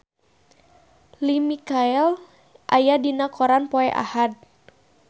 Lea Michele aya dina koran poe Ahad